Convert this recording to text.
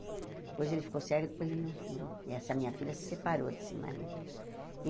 Depois ele ficou cego e depois ele não não... E essa minha filha se separou desse marido.